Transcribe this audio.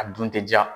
A dun tɛ ja